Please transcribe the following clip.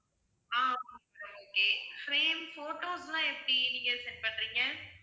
ஆஹ் okay ma'am okay frame photos லாம் எப்படி நீங்க send பண்றீங்க